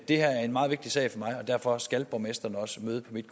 det her er en meget vigtig sag for mig og derfor skal borgmesteren også møde på mit